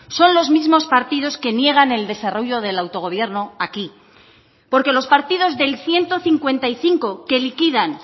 son los mismos partidos que niegan el desarrollo del autogobierno aquí porque los partidos del ciento cincuenta y cinco que liquidan